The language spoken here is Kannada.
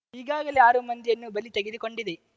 ಈಗಾಗಲೇ ಆರು ಮಂದಿಯನ್ನು ಬಲಿ ತೆಗೆದುಕೊಂಡಿದೆ